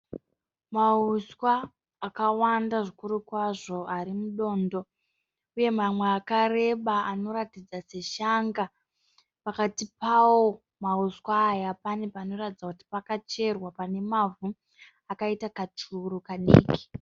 Mauswa akawanda zvikuru kwazvo ari mudondo uye mamwe akareba anoratidza zveshanga. Pakati pawo mauswa aya pane panoratidza pakacherwa pane mavhu akaita kachuru kadiki.